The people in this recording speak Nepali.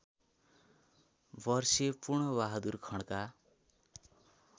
वर्षीय पूर्णबहादुर खड्का